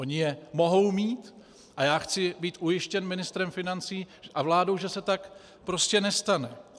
Oni je mohou mít a já chci být ujištěn ministrem financí a vládou, že se tak prostě nestane.